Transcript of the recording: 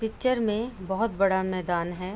Picture में बोहत बड़ा मैदान है।